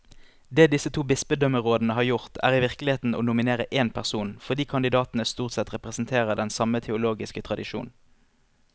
Det disse to bispedømmerådene har gjort, er i virkeligheten å nominere én person, fordi kandidatene stort sett representerer den samme teologiske tradisjon.